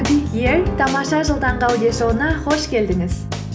тамаша жыл таңғы аудиошоуына қош келдіңіз